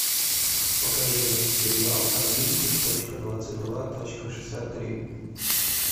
покажи сериал одиннадцать точка двадцать два точка шестьдесят три